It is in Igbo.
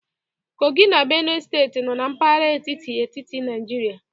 Kogi na Benue Steeti nọ na mpaghara etiti etiti Nigeria